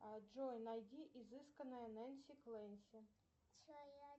джой найди изысканная нэнси клэнси